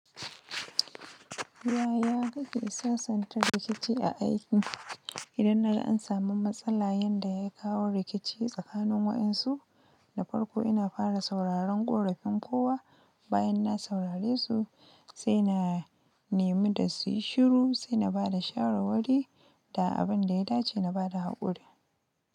Ya ya kake sasanta rikici a aiki? Idan na ga an samu matsala yanda ya kawo rikici tsakanin waɗansu, na farko ina fara sauraron ƙorafin kowa. Bayan na saurare su, sai na nemi da su yi shiru, sai na ba da shawarwari da abin da ya dace na bada haƙuri.